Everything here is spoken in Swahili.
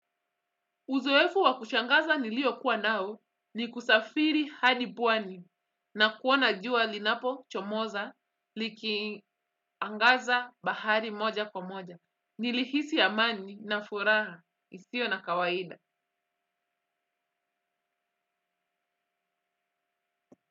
Uzoefu wa kushangaza niliokuwa nao ni kusafiri hadi pwani na kuona jua linapochomoza likiangaza bahari moja kwa moja. Nilihisi amani na furaha isio na kawaida.